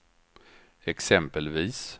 exempelvis